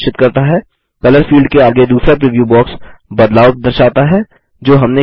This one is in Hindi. कलर फील्ड के आगे दूसरा प्रीव्यू बॉक्स बदलाव दर्शाता है जो हमने किये